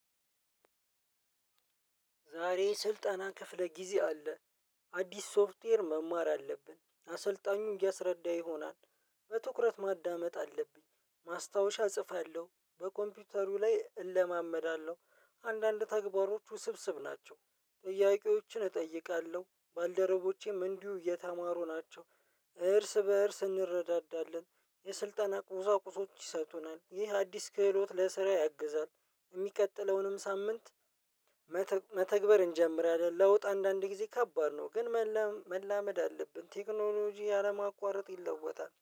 ዛሬ ስልጠና ክፍለ ጊዜ አለ። አዲስ ሶፍትዌር መማር አለብን አሰልጣኙ እያስረዳ ይሆናል። በትኩረት ማዳመጥ አለብኝ ማስታወሻ እጽፋለሁ በኮምፒውተሩ ላይ እለማመዳለሁ። አንዳንድ ተግባሮቹ ስብስብ ናቸው። ጥያቄዎችን እጠይቃለሁ ባልደረቦቼም እንዲሁ እየተማሩ ናቸው። እርስ በእርስ እንረዳዳለን። የስልጠና ቁሳቁሶች ይሰጡናል ይህ አዲስ ክህሎት ለስራ ያግዛል። የሚቀጥለውንም ሳምንት መተግበር እንጀምራለን። ለውጥ አንዳንድ ጊዜ ከባድ ነው። ግን መላመድ አለብን ቴክኖሎጂ አለማቋረጥ ይለወጣል